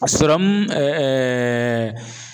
A serɔmu